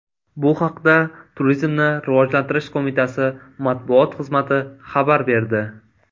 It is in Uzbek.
Bu haqda Turizmni rivojlantirish qo‘mitasi matbuot xizmati xabar berdi .